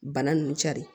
Bana nunnu cari